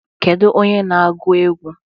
Kedu onye na-agụ egwu?